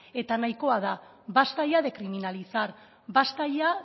eta nahikoa da basta ya de criminalizar basta ya